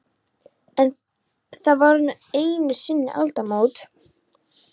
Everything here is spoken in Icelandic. En- það voru nú einu sinni aldamót.